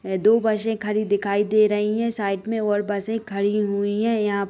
दो बसे खड़ी दिखाई दे रही हैं साइड में और बसे खड़ी हुईं हैं यहां --